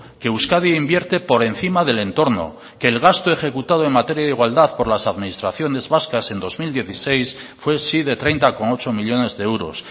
que euskadi invierte por encima del entorno que el gasto ejecutado en materia de igualdad por las administraciones vascas en dos mil dieciséis fue sí de treinta coma ocho millónes de euros